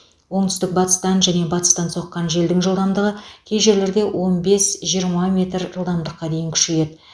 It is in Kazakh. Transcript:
оңтүстік батыстан және батыстан соққан желдің жылдамдығы кей жерлерде он бес жиырма метр жылдамдыққа дейін күшейеді